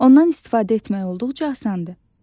Ondan istifadə etmək olduqca asandır.